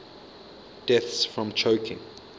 deaths from choking